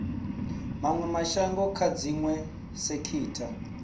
mawe mashango kha dziwe sekitha